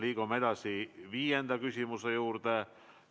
Liigume edasi viienda küsimuse juurde.